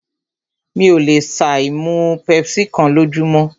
Mí ò lè ṣà ì má mú pepsi kán lójúmọ́.